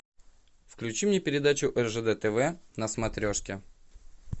включи мне передачу ржд тв на смотрешке